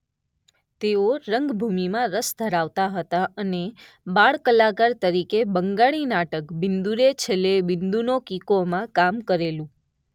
તેઓ રંગભૂમિમાં રસ ધરાવતા હતા અને બાળ કલાકાર તરીકે બંગાળી નાટક બિંદુરે છેલ્લે ‍‍‍ બિંદુનો કિકો માં કામ કરેલું.